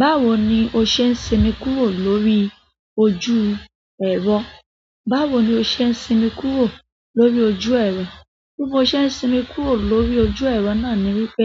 Báwo ni o ṣe ń sinmi kúrò lórí ojú ẹ̀rọ? Báwo ni o ṣe ń sinmi kúrò lórí ojú ẹ̀rọ? Bí mo ṣe ń sinmi kúrò lórí ojú ẹ̀rọ náà ni wípé,